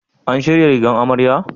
An shirya rigar amarya?